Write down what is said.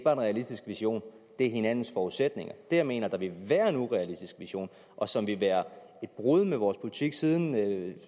er en realistisk vision men hinandens forudsætninger jeg mener vil være en urealistisk vision og som vil være et brud med vores politik siden